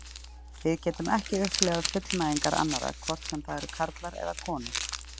Við getum ekki upplifað fullnægingar annarra, hvort sem það eru karlar eða konur.